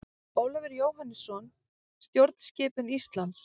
Ólafur Jóhannesson: Stjórnskipun Íslands.